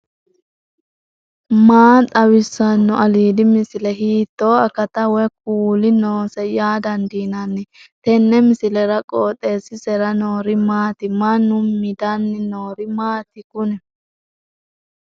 maa xawissanno aliidi misile ? hiitto akati woy kuuli noose yaa dandiinanni tenne misilera? qooxeessisera noori maati ? mannu midanni noori maati kuni